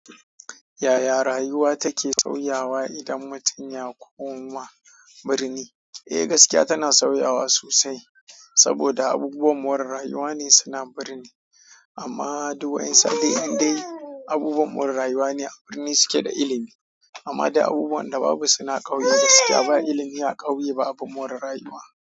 Yaya rayuwa take sauyawa idan mutum ya koma birni? Eh gaskiya tana sauyawa sosai saboda abubuwan more rayuwa ne suna birni. Amma duk wani saɗai ƙadai abubuwan more rayuwa ne a birni suke da ilimi. Amma dai abubuwan da babu suna ƙauye gaskiya ba ilimi a ƙauye ba abun more rayuwa.